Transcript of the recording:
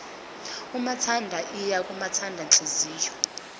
umathanda iya kwamathandanhliziyo